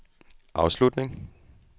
afslutning